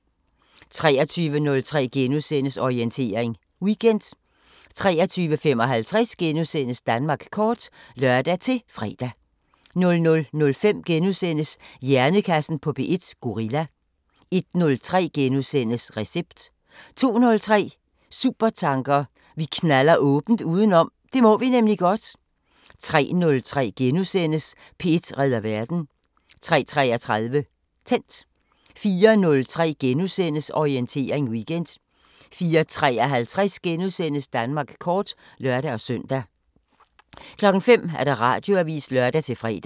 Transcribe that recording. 23:03: Orientering Weekend * 23:55: Danmark kort *(lør-fre) 00:05: Hjernekassen på P1: Gorilla * 01:03: Recept * 02:03: Supertanker: Vi knalder åbent udenom – det må vi nemlig godt 03:03: P1 redder verden * 03:33: Tændt 04:03: Orientering Weekend * 04:53: Danmark kort *(lør-søn) 05:00: Radioavisen (lør-fre)